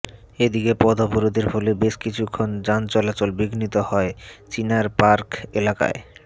এদিকে পথ অবরোধের ফলে বেশ কিছুক্ষণ যানচলাচল বিঘ্নিত হয় চিনার পার্ক এলাকায়